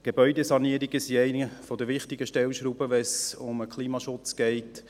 Gebäudesanierungen sind eine der wichtigsten Stellschrauben, wenn es um den Klimaschutz geht.